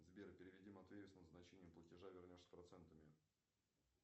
сбер переведи матвею с назначением платежа вернешь с процентами